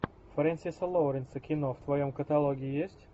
френсиса лоуренса кино в твоем каталоге есть